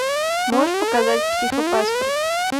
можешь показать психопаспорт